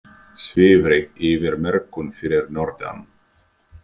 Svifryk yfir mörkum fyrir norðan